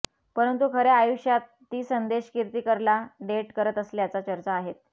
परंतू खऱ्या आयुष्यात ती संदेश किर्तीकरला डेट करत असल्याच्या चर्चा आहेत